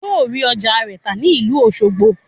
Yóò rí ọjà rẹ̀ tà ní ìlú Òṣogbo